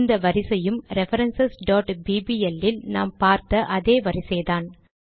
இந்த வரிசையும் reference bbl இல் நாம் பார்த்த அதே வரிசைதான்